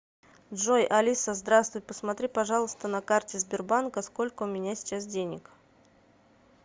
джой алиса здравствуй посмотри пожалуйста на карте сбербанка сколько у меня сейчас денег